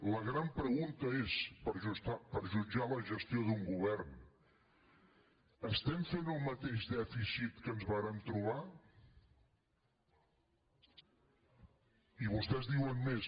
la gran pregunta és per jutjar la gestió d’un govern estem fent el mateix dèficit que ens vàrem trobar i vostès diuen més